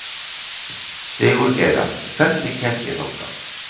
Sigurgeira, hvernig kemst ég þangað?